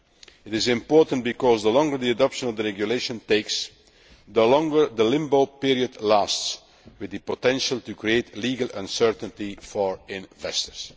It is important because the longer the adoption of the regulation takes, the longer the limbo period lasts, with the potential to create legal uncertainty for investors.